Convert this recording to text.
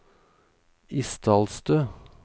Isdalstø